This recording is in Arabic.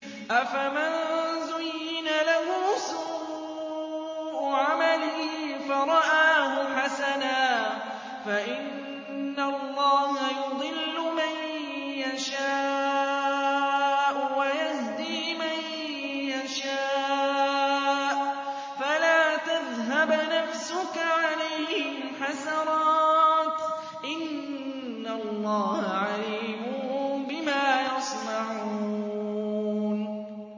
أَفَمَن زُيِّنَ لَهُ سُوءُ عَمَلِهِ فَرَآهُ حَسَنًا ۖ فَإِنَّ اللَّهَ يُضِلُّ مَن يَشَاءُ وَيَهْدِي مَن يَشَاءُ ۖ فَلَا تَذْهَبْ نَفْسُكَ عَلَيْهِمْ حَسَرَاتٍ ۚ إِنَّ اللَّهَ عَلِيمٌ بِمَا يَصْنَعُونَ